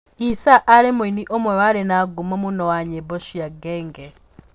E-Sir aarĩ mũini ũmwe warĩ na ngumo mũno wa nyĩmbo cia Genge.